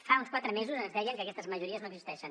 fa uns quatre mesos ens deien que aquestes majories no existeixen